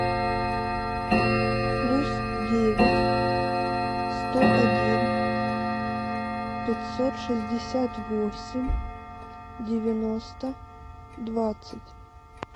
плюс девять сто один пятьсот шестьдесят восемь девяносто двадцать